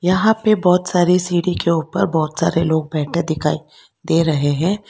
यहां पे बहोत सारी सीढ़ी के ऊपर बहोत सारे लोग बैठे दिखाई दे रहे हैं।